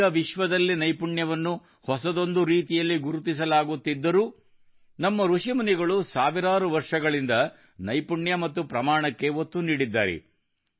ಈಗ ವಿಶ್ವದಲ್ಲಿನೈಪುಣ್ಯವನ್ನು ಹೊಸದೊಂದು ರೀತಿಯಲ್ಲಿ ಗುರುತಿಸಲಾಗುತ್ತಿದ್ದರೂ ನಮ್ಮ ಋಷಿಮುನಿಗಳು ಸಾವಿರಾರು ವರ್ಷಗಳಿಂದ ನೈಪುಣ್ಯ ಮತ್ತು ಪ್ರಮಾಣಕ್ಕೆ ಒತ್ತು ನೀಡಿದ್ದಾರೆ